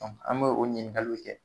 an b'o o ɲininkaliw kɛ.